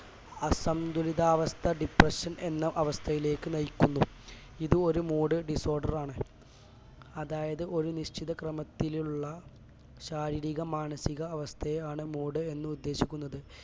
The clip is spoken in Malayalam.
അസംതുലിതാവസ്ഥ depression എന്ന അവസ്ഥയിലേക്ക് നയിക്കുന്നു ഇതൊരു moody disorder ആണ് അതായത് ഒരു നിശ്ചിതക്രമത്തിലുള്ള ശാരീരിക മാനസിക അവസ്ഥയാണ് moody എന്നുദ്ദേശിക്കുന്നത്